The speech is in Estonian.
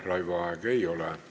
Aitäh, Raivo Aeg!